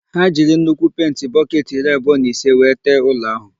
Ha jiri nnukwu penti bọketị iri abụọ na ise wee tee ụlọ áhụ̀.